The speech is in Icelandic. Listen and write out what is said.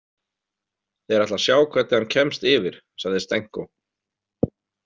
Þeir ætla að sjá hvernig hann kemst yfir, sagði Stenko.